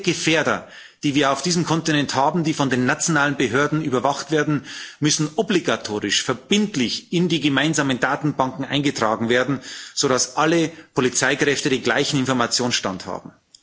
Alle Gefährder, die wir auf diesem Kontinent haben, die von den nationalen Behörden überwacht werden, müssen obligatorisch, verbindlich in die gemeinsamen Datenbanken eingetragen werden, sodass alle Polizeikräfte den gleichen Informationsstand haben.